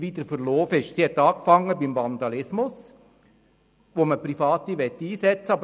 Sie hat beim Vandalismus angefangen, wo man Private einsetzen möchte.